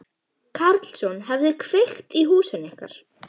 Karlsson hefði kveikt í húsinu ykkar.